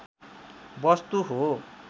वस्तु हो